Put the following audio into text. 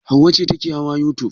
Hauwa ce take hawa youtube.